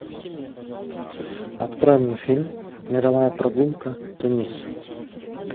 открой мне фильм мировая прогулка тунис